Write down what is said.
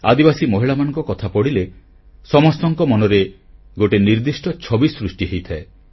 ଆଦିବାସୀ ମହିଳାମାନଙ୍କ କଥା ପଡ଼ିଲେ ସମସ୍ତଙ୍କ ମନରେ ଗୋଟିଏ ନିର୍ଦ୍ଦିଷ୍ଟ ଛବି ସୃଷ୍ଟି ହୋଇଥାଏ